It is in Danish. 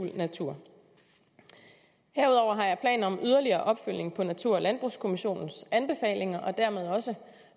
natur herudover har jeg planer om yderligere opfølgning på natur og landbrugskommissionens anbefalinger og dermed jo også